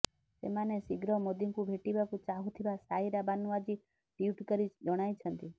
ସେମାନେ ଶୀଘ୍ର ମୋଦୀଙ୍କୁ ଭେଟିବାକୁ ଚାହୁଥିବା ସାଇରା ବାନୁ ଆଜି ଟ୍ବିଟ୍ କରି ଜଣାଇଛନ୍ତି